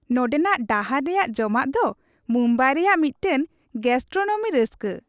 ᱱᱚᱸᱰᱮᱱᱟᱜ ᱰᱟᱦᱟᱨ ᱨᱮᱭᱟᱜ ᱡᱚᱢᱟᱜ ᱫᱚ ᱢᱩᱢᱵᱟᱭ ᱨᱮᱭᱟᱜ ᱢᱤᱫᱴᱟᱝ ᱜᱮᱹᱥᱴᱨᱳᱱᱚᱢᱤ ᱨᱟᱹᱥᱠᱟᱹ ᱾